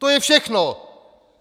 To je všechno!